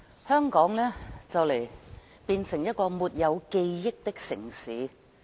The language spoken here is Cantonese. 香港將會變成一個沒有記憶的城市。